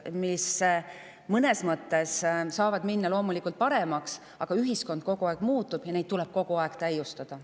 Mõnes mõttes saavad minna loomulikult paremaks, aga ühiskond kogu aeg muutub ja neid tuleb kogu aeg täiustada.